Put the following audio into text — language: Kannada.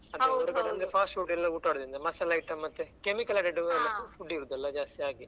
Fast food ಎಲ್ಲಾ ಮಸಾಲೆ item ಮತ್ತೆ chemical added food ಇರುದಲ್ಲ ಜಾಸ್ತಿ ಹಾಗೆ.